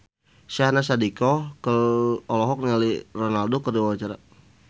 Syahnaz Sadiqah olohok ningali Ronaldo keur diwawancara